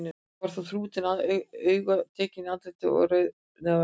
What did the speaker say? Þó var hann þrútinn til augna, tekinn í andliti og rauðnefjaður.